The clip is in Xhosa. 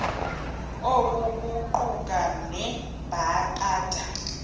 oku kuquka nabeendaba